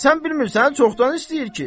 Sən bilmirsən çoxdan istəyir ki.